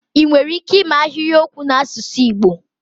ị nwere ike ịme ahịrịokwu n'asụsụ Igbo?